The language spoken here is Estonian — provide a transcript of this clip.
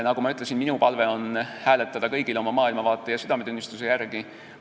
Nagu ma ütlesin, minu palve on, et kõik hääletaksid oma maailmavaate ja südametunnistuse järgi.